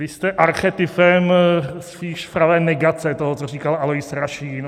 Vy jste archetypem spíše pravé negace toho, co říkal Alois Rašín.